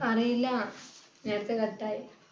അറിയില്ല. നേരത്തെ cut ആയി.